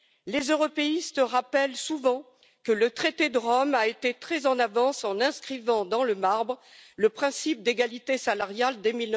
Les européistes rappellent souvent que le traité de Rome a été très en avance en gravant dans le marbre le principe d'égalité salariale dès